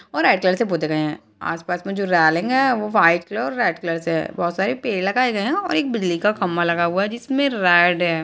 और red colour से पोते गए हैं आस पास में जो रॉलिंग वो वाइट कलर और रेड कलर से हैं बहोत सारे पेड़ लगाए गयें हैं और एक बिजली का खम्बा लगा हुआ है जिसमें रेड है।